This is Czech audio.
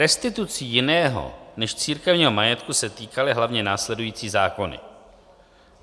Restitucí jiného než církevního majetku se týkaly hlavně následující zákony: